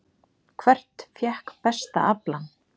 Hvert fékk besta aflann?